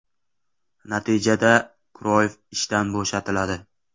Natijada, Kroyff ishdan bo‘shatiladi.